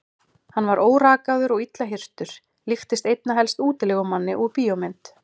Hann var órakaður og illa hirtur, líktist einna helst útilegumanni úr bíómynd.